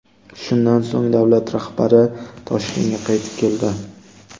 Shundan so‘ng davlat rahbari Toshkentga qaytib keldi.